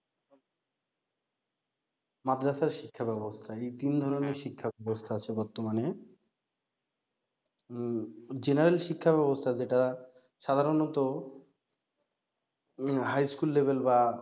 মাদ্রাসা শিক্ষা ব্যাবস্থা এই তিন ধরনের শিক্ষা ব্যাবস্থা আছে বর্তমানে উম জেনারেল শিক্ষা ব্যাবস্থা যেটা সাধারণত উম high school level বা